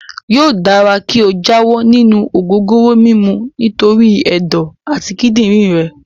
Yóò dára kí o jáwọ́ nínú ògógóró mímu nítorí ẹ̀dọ̀ àti kídìrín rẹ.